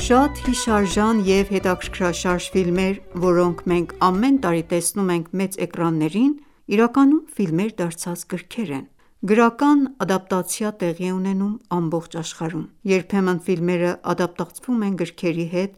Շատ հիշարժան և հետաքրքրաշարժ ֆիլմեր, որոնք մենք ամեն տարի տեսնում ենք մեծ էկրաններին, իրականում ֆիլմեր դարձած գրքեր են: Գրական ադապտացիա տեղի է ունենում ամբողջ աշխարհում։ Երբեմն ֆիլմերը ադապտացվում են գրքերի հետ,